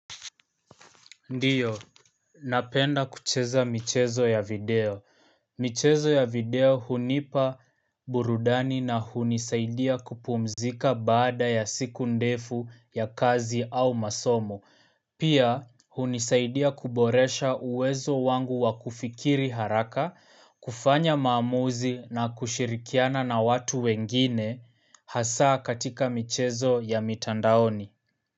Ndio napenda kucheza michezo ya video michezo ya video hunipa burudani na hunisaidia kupumzika baada ya siku ndefu ya kazi au masomo Pia hunisaidia kuboresha uwezo wangu wa kufikiri haraka kufanya maamuzi na kushirikiana na watu wengine hasaa katika michezo ya mitandaoni.